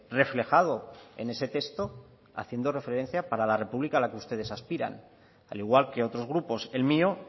reflejado en ese texto haciendo referencia para la república a la que ustedes aspiran al igual que otros grupos el mío